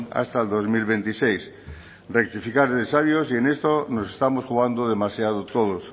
hasta el dos mil veintiséis rectificar es de sabios y en esto nos estamos jugando demasiado todos